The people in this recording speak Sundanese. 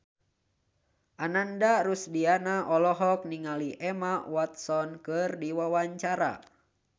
Ananda Rusdiana olohok ningali Emma Watson keur diwawancara